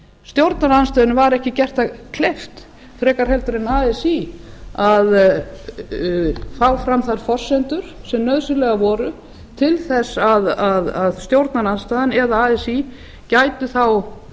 stjórnarandstöðunni var ekki gert það kleift frekar heldur en así að fá fram þær forsendur sem nauðsynlegar voru til þess að stjórnarandstaðan eða así gætu þá